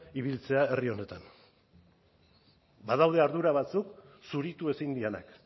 ibiltzea herri honetan badaude ardura batzuk zuritu ezin direnak